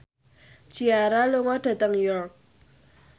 Ciara lunga dhateng York